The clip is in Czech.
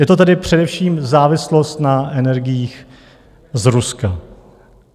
Je to tedy především závislost na energiích z Ruska.